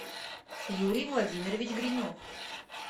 юрий владимирович гринев